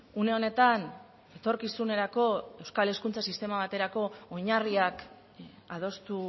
une honetan etorkizunerako euskal hezkuntza sistema baterako oinarriak adostu